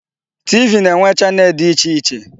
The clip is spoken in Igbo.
TV na-enwe channel dị iche iche.